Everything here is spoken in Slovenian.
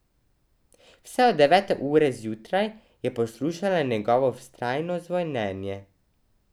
Vse od devete ure zjutraj je poslušala njegovo vztrajno zvonjenje.